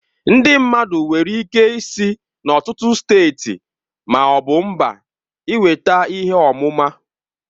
Ndị mmadụ nwere ike isi n'ọtụtụ steeti ma ọ bụ mba ịnweta ihe ọmụma.